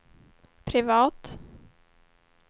privat